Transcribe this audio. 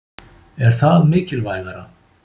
Er það mikilvægara?